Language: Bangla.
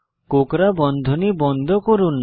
কোকড়া বন্ধনী বন্ধ করুন